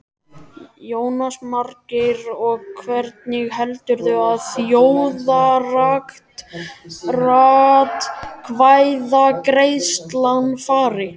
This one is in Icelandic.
Jónas Margeir: Og hvernig heldurðu að þjóðaratkvæðagreiðslan fari?